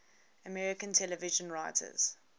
american television writers